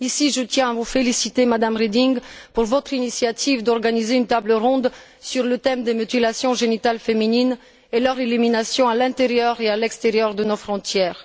Je tiens à vous féliciter, Mme Reding, pour votre initiative d'organiser une table ronde sur le thème des mutilations génitales féminines, et leur élimination à l'intérieur et à l'extérieur de nos frontières.